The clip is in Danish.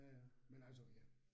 Ja ja, men altså, ja